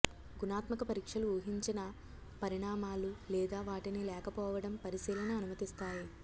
గుణాత్మక పరీక్షలు ఊహించిన పరిణామాలు లేదా వాటిని లేకపోవడం పరిశీలన అనుమతిస్తాయి